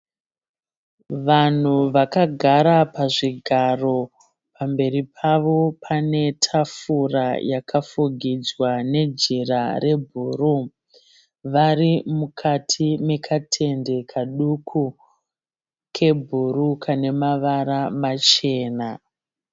Vanhu vakagara pazvigaro, pamberi pavo pane tafura yakafugidzwa nejira rebhuruu. Vari mukati mekatende kaduku kebhuruu kane mavara machena.